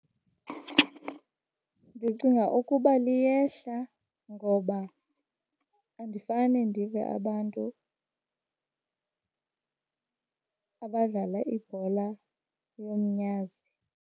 Ndicinga ukuba liyehla ngoba andifane ndive abantu abadlala ibhola yomnyazi.